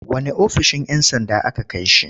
Wanne ofishin 'yan sanda aka kai shi.